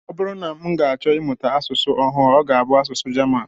Ọ bụrụ na m ga-achọ ịmụta asụsụ ọhụụ, ọ ga-abụ asụsụ German